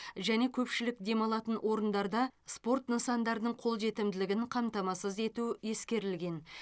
және көпшілік демалатын орындарда спорт нысандарының қолжетімділігін қамтамасыз ету ескерілген